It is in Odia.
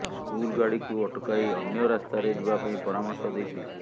ସ୍କୁଲ ଗାଡିକୁ ଅଟକାଇ ଅନ୍ୟ ରାସ୍ତାରେ ଯିବାପାଇଁ ପରାମର୍ଶ ଦେଇଥିଲେ